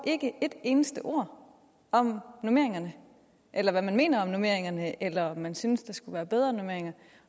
et eneste ord om normeringerne eller hvad man mener om normeringerne eller om man synes der skulle være bedre normeringer